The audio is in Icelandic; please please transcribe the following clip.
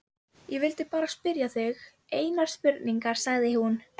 Ég vildi bara spyrja þig einnar spurningar, sagði hún.